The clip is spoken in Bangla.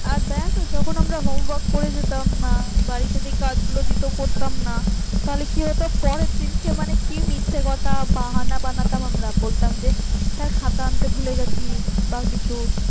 আর দেখ যখন আমরা home work করে যেতাম না বাড়িতে যে কাজগুলো দিত করতাম না তাহলে কি হতো পরের দিনকে কি মিথ্যা কথা বাহানা বানাতাম আমরা বলতাম যে sir খাতা আনতে ভুলে গেছি বা কিছু